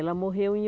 Ela morreu em